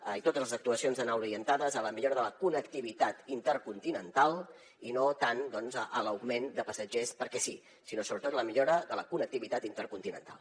i totes les actuacions han d’anar orientades a la millora de la connectivitat intercontinental i no tant a l’augment de passatgers perquè sí sinó sobretot a la millora de la connectivitat intercontinental